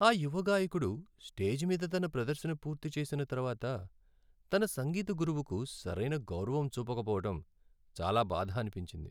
ఆ యువ గాయకుడు స్టేజ్ మీద తన ప్రదర్శన పూర్తి చేసిన తర్వాత తన సంగీత గురువుకు సరైన గౌరవం చూపకపోవడం చాలా బాధ అనిపించింది.